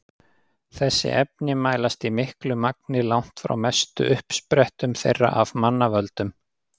Þessi efni mælast í miklu magni langt frá mestu uppsprettum þeirra af mannavöldum.